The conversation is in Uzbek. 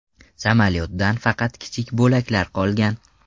Samolyotdan faqat kichik bo‘laklar qolgan.